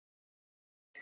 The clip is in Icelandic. Stari á mig.